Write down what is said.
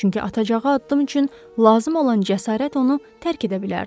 Çünki atacağı addım üçün lazım olan cəsarət onu tərk edə bilərdi.